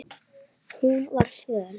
Hún var föl.